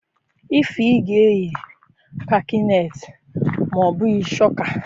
Ify ga-eyi kakanetị ma obughi chokaa.